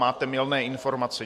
Máte mylné informace.